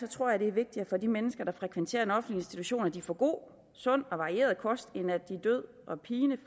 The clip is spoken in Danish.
tror at det er vigtigere for de mennesker der frekventerer en offentlig institution at de får en god sund og varieret kost end at de død og pine